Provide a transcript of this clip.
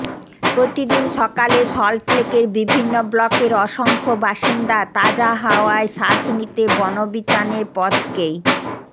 প্রতিদিন সকালে সল্টলেকের বিভিন্ন ব্লকের অসংখ্য বাসিন্দা তাজা হাওয়ায় শ্বাস নিতে বনবিতানের পথকেই